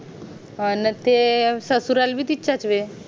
अन ते ससुराल भी तिथ च ये